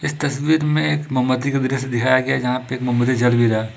इस तस्वीर में एक मोमबत्ती का दृश्य दिखाया गया है जहाँ पर एक मोमबत्ती जल भी रहा है।